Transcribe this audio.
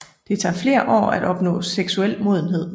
Det tager fler år at opnå seksuel modenhed